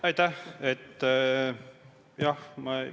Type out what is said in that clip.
Aitäh!